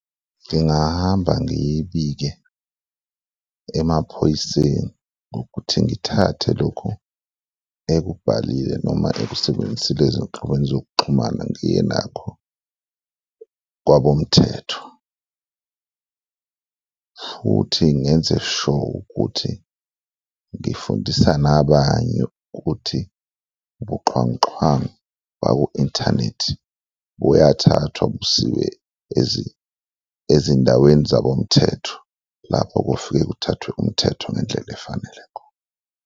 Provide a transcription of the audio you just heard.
Ngingahamba ngiyibike emaphoyiseni ngokuthi ngithathe lokhu ekubhalile noma ekusebenzisile ezinhlokweni zokuxhumana ngiye nakho kwabomthetho futhi ngenze sure ukuthi ngifundisa nabanye ukuthi ubuxhwanguxhwangu baku-inthanethi buyathathwa busiwe ezindaweni zabomthetho, lapho kufike kuthathwe umthetho ngendlela efanelekho.